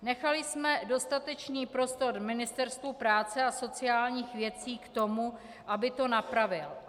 Nechali jsme dostatečný prostor Ministerstvu práce a sociálních věcí k tomu, aby to napravilo.